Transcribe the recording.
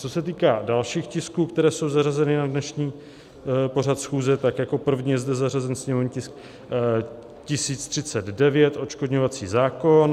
Co se týká dalších tisků, které jsou zařazeny na dnešní pořad schůze, tak jako první je zde zařazen sněmovní tisk 1039 - odškodňovací zákon.